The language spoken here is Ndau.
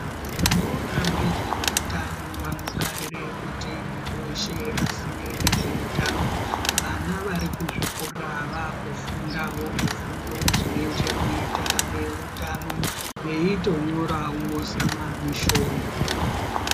Vanoona ngezveutano vanogarire kuti mundu weshe aziye ngezveutano vana varikuzvikora vakufundawo zvifundo zvine chekuita neutano veitonyorawo zamamishoni.